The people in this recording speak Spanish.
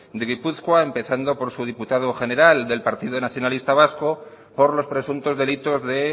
de gipuzkoa empezando por su diputado general del partido nacionalista vasco por los presuntos delitos de